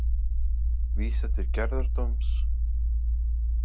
Vísað til gerðardóms